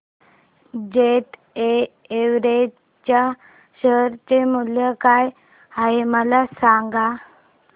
jet Airways च्या share चे मूल्य काय आहे मला सांगा